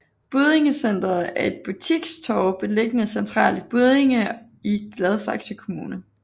Buddinge Centret er et butikstorv beliggende centralt i Buddinge i Gladsaxe Kommune